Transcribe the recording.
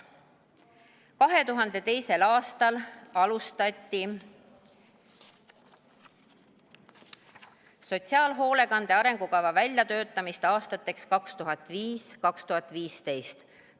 2002. aastal alustati sotsiaalhoolekande arengukava väljatöötamist aastateks 2005–2015.